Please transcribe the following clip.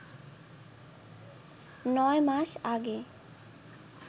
নয় মাস আগে